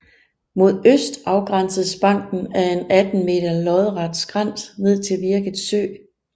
Mod øst afgrænses banken af en 18 meter lodret skrænt ned til Virket Sø